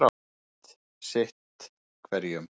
Sýndist sitt hverjum.